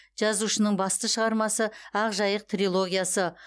жазушының басты шығармасы ақ жайық трилогиясы